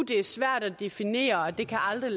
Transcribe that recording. det er svært at definere og at det aldrig